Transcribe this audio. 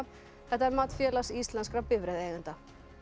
þetta er mat Félags íslenskra bifreiðeigenda